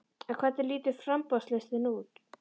En hvernig lítur framboðslistinn út?